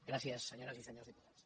gràcies senyores i senyors diputats